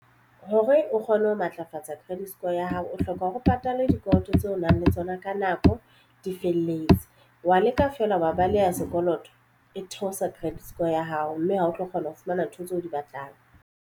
Hore o kgone ho matlafatsa credit score ya hao o hloka hore o patale dikoloto tseo o nang le tsona ka nako di felletse wa leka fela wa baleha sekoloto e theosa credit score ya hao mme ha o tlo kgona ho fumana ntho tseo o di batlang.